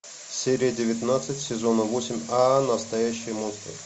серия девятнадцать сезона восемь ааа настоящие монстры